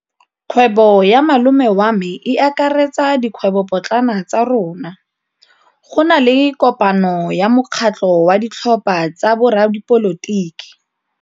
Kgwêbô ya malome wa me e akaretsa dikgwêbôpotlana tsa rona. Go na le kopanô ya mokgatlhô wa ditlhopha tsa boradipolotiki.